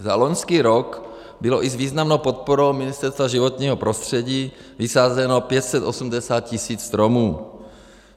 Za loňský rok bylo i s významnou podporou Ministerstva životního prostředí vysázeno 580 tis. stromů.